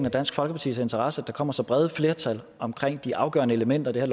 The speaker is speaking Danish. og dansk folkepartis interesse at der kommer så brede flertal som omkring de afgørende elementer i det